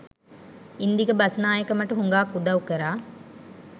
ඉන්දික බස්නායක මට හුඟාක් උදව් කරා.